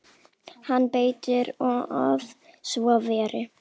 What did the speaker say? Hann: Betur að svo væri.